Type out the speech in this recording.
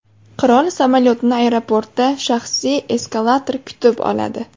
Qirol samolyotini aeroportda shaxsiy eskalator kutib oladi.